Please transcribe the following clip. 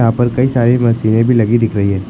यहां पर कई सारे मशीनें भी लगी दिख रही हैं।